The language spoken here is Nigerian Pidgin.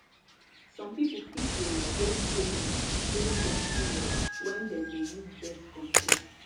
some people fit de get changes during their period when dem de use birth control